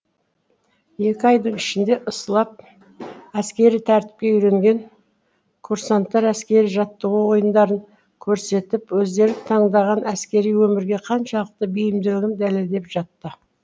екі айдың ішінде ысалып әскери тәртіпке үйренген курсанттар әскери жаттығу ойындарын көрсетіп өздері таңдаған әскери өмірге қаншалықты бейімділігін дәлелдеп жатты